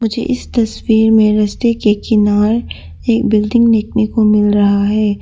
मुझे इस तस्वीर में रास्ते के किनारे एक बिल्डिंग देखने को मिल रहा है।